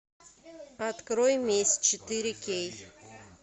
открой месть четыре кей